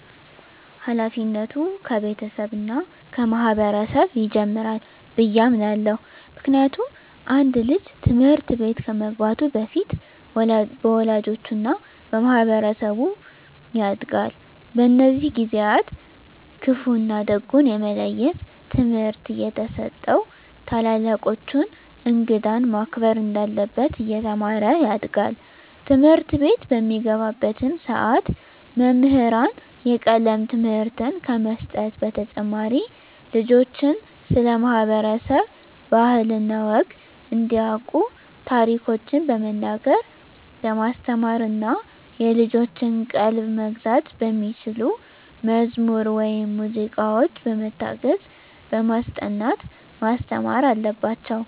ሀላፊነቱ ከቤተሰብ እና ከማህበረሰብ ይጀምራል ብየ አምናለሁ። ምክንያቱም አንድ ልጅ ትምህርት ቤት ከመግባቱ በፊት በወላጆቹ እና በማህበረሰቡ ያጋድል። በእነዚህ ጊዜአትም ክፋ እና ደጉን የመለየት ትምህርት እየተሰጠው ታላላቆቹን፣ እንግዳን ማክበር እንዳለበት እየተማረ ያድጋል። ትምህርትቤት በሚገባባትም ሰዓት መምህራን የቀለም ትምህርትን ከመስጠት በተጨማሪ ልጆችን ስለ ማህበረሰብ ባህል እና ወግ እንዲያቁ ታሪኮችን በመናገር በማስተማር እና የልጆችን ቀልብ መግዛት በሚችሉ መዝሙር ወይም ሙዚቃዎች በመታገዝ በማስጠናት ማስተማር አለባቸው።